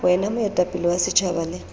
wena moetapele wa setjhaba le